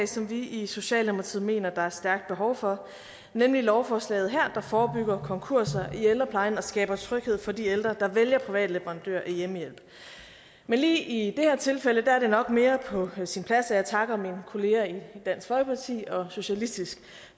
som vi i socialdemokratiet mener der er stærkt behov for nemlig lovforslaget her der forebygger konkurser i ældreplejen og skaber tryghed for de ældre der vælger privat leverandør af hjemmehjælp men lige i det her tilfælde er det nok mere på sin plads at jeg takker mine kolleger i dansk folkeparti og socialistisk